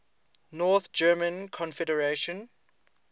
north german confederation